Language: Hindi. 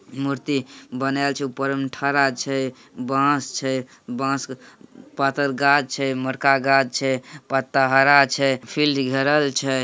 मूर्ति बनल छै ऊपर में ठाड़ा छै बांस छै बांस पातर गाछ छै मोटका गाछ छै पत्ता हरा छैफील्ड घेरल छै।